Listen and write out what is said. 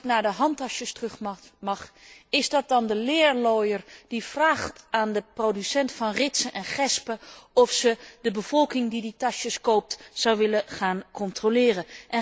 En als ik naar de handtassen terug mag, is dat dan de leerlooier die vraagt aan de producent van ritsen en gespen of deze de bevolking die die tassen koopt zou willen gaan controleren?